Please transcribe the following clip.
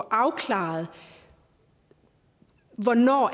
afklaret hvornår